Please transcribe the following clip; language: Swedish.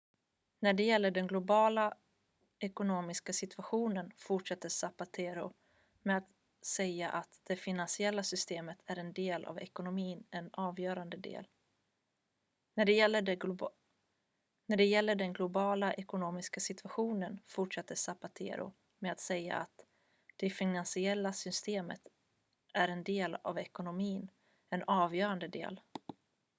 "när det gällde den globala ekonomiska situationen fortsatte zapatero med att säga att "det finansiella systemet är en del av ekonomin en avgörande del.